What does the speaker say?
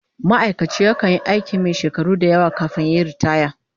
Ma'aikaci yakan yi aikin shakaru da yawa kafin yayi riitaya